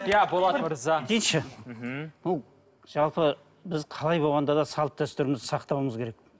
иә болат мырза дейінші мхм жалпы біз қалай болғанда да салт дәстүрімізді сақтауымыз керек